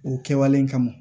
O kɛwale kama